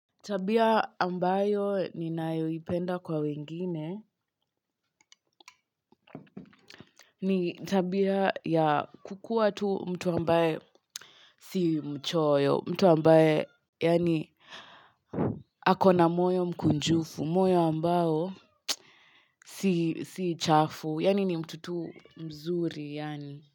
Tabia ambayo ni ninayoipenda kwa wengine ni tabia ya kukuwa tu mtu ambaye si mchoyo. Mtu ambaye yaani akona moyo mkunjufu moyo ambao si chafu yaani ni mtu tu mzuri yaani.